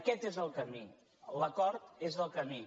aquest és el camí l’acord és el camí